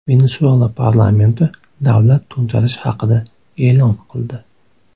Venesuela parlamenti davlat to‘ntarishi haqida e’lon qildi.